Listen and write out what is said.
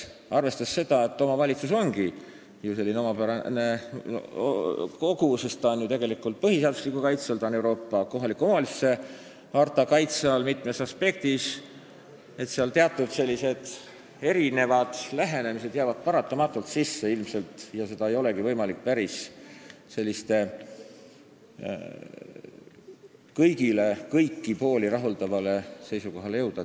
Arvestades seda, et omavalitsus ongi ju selline omapärane kogu, tal on põhiseaduslik kaitse, ta on mitmes aspektis Euroopa kohaliku omavalitsuse harta kaitse all, jäävad teatud sellised erinevad lähenemised ilmselt paratamatult sisse ja ei olegi võimalik kõiki pooli päris rahuldavale seisukohale jõuda.